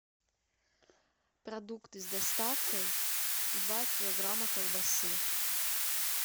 продукты с доставкой два килограмма колбасы